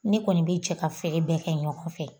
Ne kɔni be cɛ ka feere bɛ kɛ ɲɔgɔn fɛ